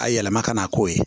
A yɛlɛma ka na k'o ye